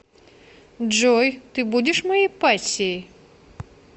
джой ты будешь моей пассией